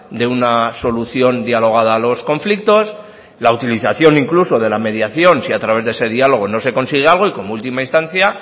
de una solución dialogada a los conflictos la utilización incluso de la mediación si a través de ese diálogo no se consigue algo y como última instancia